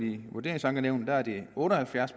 i vurderingsankenævnene otte og halvfjerds